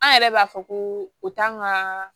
An yɛrɛ b'a fɔ ko o t'an ka